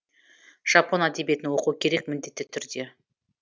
жапон әдебиетін оқу керек міндетті түрде